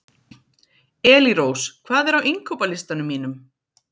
Elírós, hvað er á innkaupalistanum mínum?